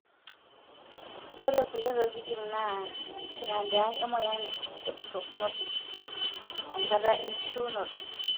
ore kulie tokitin na kitandiak emoyian e propnosis( enkata enkishiunoto)